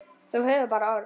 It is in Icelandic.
Þú hefur bara orð.